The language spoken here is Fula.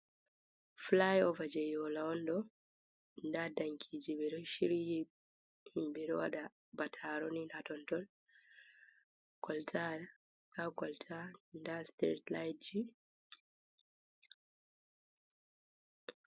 Flyover je yola on ɗo, ɗa ɗankiji ɓe ɗo shiryi himɓe ɗo waɗa bataroni ,hatontol golta ha golta ɗa street light ji.